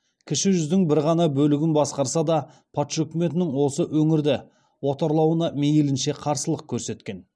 кіші жүздің бір ғана бөлігін басқарса да патша үкіметінің осы өңірді отарлауына мейлінше қарсылық көрсеткен